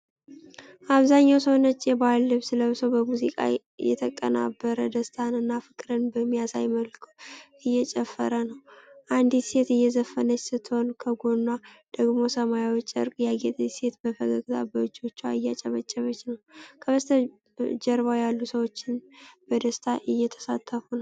አብዛኛው ሰው ነጭ የባህል ልብስ ለብሶ፣ በሙዚቃ የተቀናበረ ደስታን እና ፍቅርን በሚያሳይ መልኩ እየጨፈረ ነው። አንዲት ሴት እየዘፈነች ስትሆን፣ ከጎኗ ደግሞ በሰማያዊ ጨርቅ ያጌጠች ሴት በፈገግታ በእጆቿ እያጨበጨበች ነው። በስተጀርባ ያሉ ሰዎችም በደስታ እየተሳተፉ ነው።